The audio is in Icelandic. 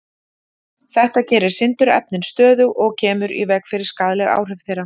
Þetta gerir sindurefnin stöðug og kemur í veg fyrir skaðleg áhrif þeirra.